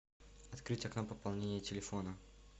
открыть окно пополнения телефона